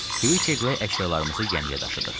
Kviçeklə əşyalarımızı gəmiyə daşıdıq.